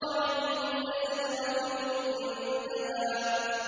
عِندَ سِدْرَةِ الْمُنتَهَىٰ